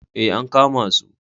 Ee, an kama su.